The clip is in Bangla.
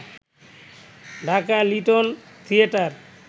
Dhaka little theatre